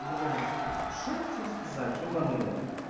блять что я хотел сказать ебанный рот